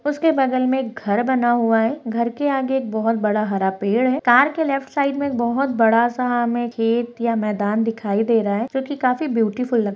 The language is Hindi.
उसके बगल में एक घर बना हुआ है घर के आगे एक बहुत बड़ा हरा पेड़ है कार के लेफ्ट साइड बहुत बड़ा सा हमें खेत या मैदान दिखाई दे रहा है जो की ब्यूटीफूल लग --